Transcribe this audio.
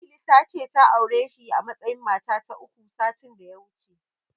Lili ta ce ta aure shi a matsayin mata ta uku, satin da ya wuce.